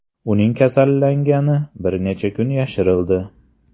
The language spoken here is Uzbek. Uning kasallangani bir necha kun yashirildi .